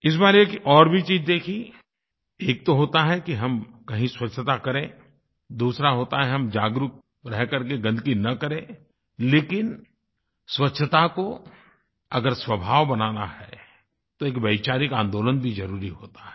इस बार एक और भी चीज़ देखी एक तो होता है कि हम कहीं स्वच्छता करें दूसरा होता है हम जागरूक रह करके गन्दगी न करें लेकिन स्वच्छता को अगर स्वभाव बनाना है तो एक वैचारिक आंदोलन भी ज़रुरी होता है